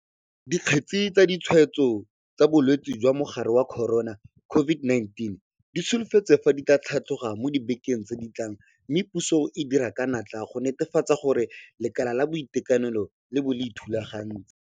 Dikgetse tsa ditshwaetso tsa bolwetse jwa mogare wa corona COVID-19 di solofetswe fa di tla tlhatloga mo dibekeng tse di tlang mme puso e dira ka natla go netefatsa gore lekala la boitekanelo le bo le ithulagantse.